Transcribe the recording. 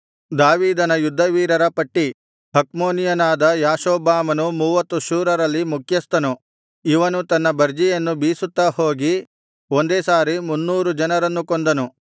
ದಾವೀದನ ಯುದ್ಧವೀರರ ಪಟ್ಟಿ ಹಕ್ಮೋನಿಯನಾದ ಯಾಷೊಬ್ಬಾಮನು ಮೂವತ್ತು ಶೂರರಲ್ಲಿ ಮುಖ್ಯಸ್ಥನು ಇವನು ತನ್ನ ಬರ್ಜಿಯನ್ನು ಬೀಸುತ್ತಾ ಹೋಗಿ ಒಂದೇ ಸಾರಿ ಮುನ್ನೂರು ಜನರನ್ನು ಕೊಂದನು